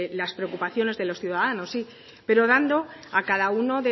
las preocupaciones de los ciudadanos sí pero dando a cada uno